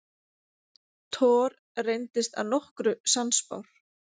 Thor reyndist að nokkru sannspár.